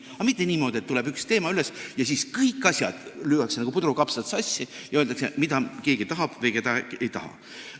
Aga mitte niimoodi, et kui tuleb üks teema üles, siis kõik asjad lüüakse nagu puder ja kapsad sassi ja öeldakse, mida keegi tahab või mida ei taha.